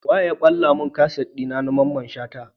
Wane ya balla mun kaset dina na mamman shata?